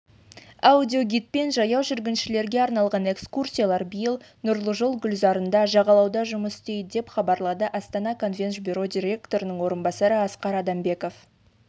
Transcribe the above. аудиогидпен жаяу жүргіншілерге арналған экскурсиялар биыл нұржол гүлзарында жағалауда жұмыс істейді деп хабарлады астана конвенш бюро директорының орынбасары асқар адамбеков